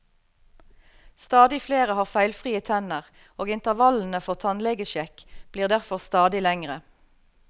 Stadig flere har feilfrie tenner, og intervallene for tannlegesjekk blir derfor stadig lengre.